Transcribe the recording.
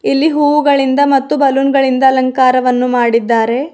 ಇಲ್ಲಿ ಹೂವುಗಳಿಂದ ಮತ್ತು ಬಲೂನ್ ಗಳಿಂದ ಅಲಂಕಾರವನ್ನು ಮಾಡಿದ್ದಾರೆ.